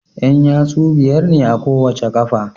Yan yatsu biyar ne a kowace qafa